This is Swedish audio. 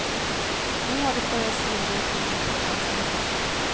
Nu har det börjat svida i skinnet på fransmännen.